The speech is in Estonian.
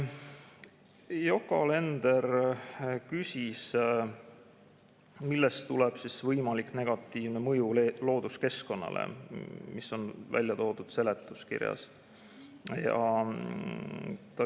Yoko Alender küsis, millest tuleb võimalik negatiivne mõju looduskeskkonnale, mis on välja toodud seletuskirjas.